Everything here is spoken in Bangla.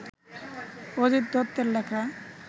অজিত দত্তের লেখা